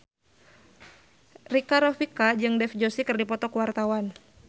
Rika Rafika jeung Dev Joshi keur dipoto ku wartawan